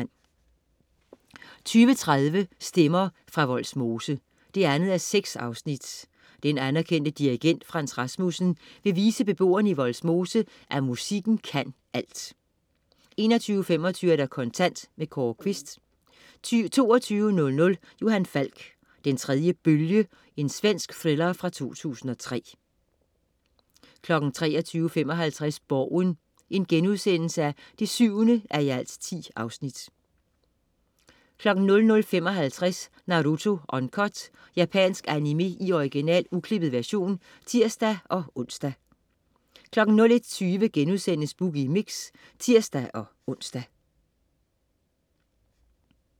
20.30 Stemmer fra Vollsmose 2:6. Den anerkendte dirigent Frans Rasmussen vil vise beboerne i Vollsmose, at musikken kan alt! 21.25 Kontant. Kåre Quist 22.00 Johan Falk: Den tredje bølge. Svensk thriller fra 2003 23.55 Borgen 7:10* 00.55 Naruto Uncut. Japansk animé i original, uklippet version (tirs-ons) 01.20 Boogie Mix* (tirs-ons)